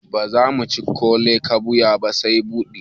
Bazamu ci ( kole batua) ba sai baɗi